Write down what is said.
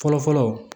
Fɔlɔ fɔlɔ